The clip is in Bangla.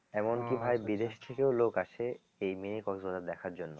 এমন কি ভাই বিদেশ থেকেও লোক আসে এই mini কক্স বাজার দেখার জন্য